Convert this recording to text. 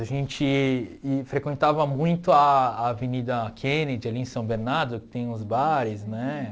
A gente frequentava muito a Avenida Kennedy, ali em São Bernardo, que tem uns bares, né?